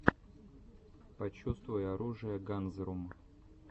почувствуй оружие ганзрум